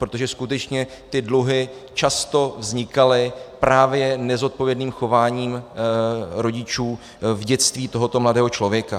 Protože skutečně ty dluhy často vznikaly právě nezodpovědným chováním rodičů v dětství tohoto mladého člověka.